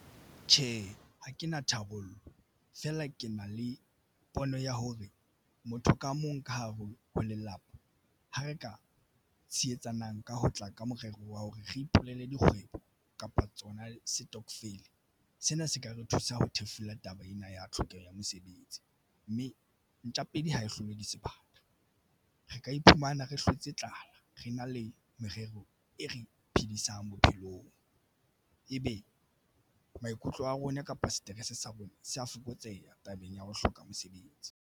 Tjhe, ha ke na tharollo fela ke na le pono ya hore motho ka mong ka hare ho lelapa ha re ka tshetsanang ka ho tla ka morero wa hore re ipulele dikgwebo kapa tsona setokofele. Sena se ka re thusa ho thefula taba ena ya tlhokeho ya mosebetsi, mme ntja pedi ha hlolwe ke sebata. Re ka iphumana re hlotse tlala re na le merero e re phedisang bophelong. Ebe maikutlo a rona kapa seterese sa rona se a fokotseha tabeng ya ho hloka mosebetsi.